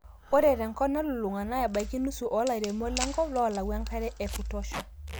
ore te nkop nalulung'a naa, ebaiki nusu oolairemok lenkop loolau enkare ekutosha